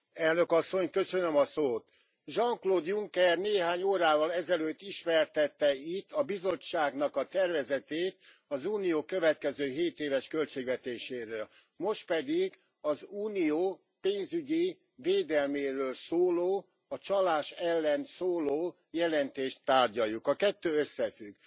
Elnök Asszony, Jean Claude Juncker néhány órával ezelőtt ismertette itt a Bizottságnak a tervezetét az Unió következő hétéves költségvetéséről. Most pedig az Unió pénzügyi védelméről szóló, a csalás ellen szóló jelentést tárgyaljuk. A kettő összefügg.